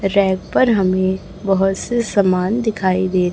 rack पर हमें बहोत से समान दिखाई दे--